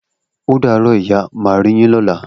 O daro ìyá, má ri yin lọla.